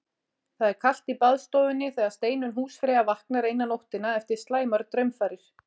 Það er kalt í baðstofunni þegar Steinunn húsfreyja vaknar eina nóttina eftir slæmar draumfarir.